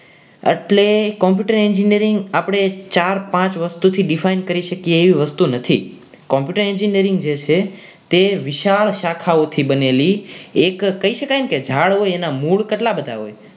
એટલે Computer Engineering આપણે ચાર પાંચ વસ્તુથી define કરી શકીએ એવી વસ્તુ નથી computer engineering જે છે તે વિશાળ શાખાઓથી બનેલી એક કહી શકાય ને કે ઝાડ હોય એના મૂળ કેટલા બધા હોય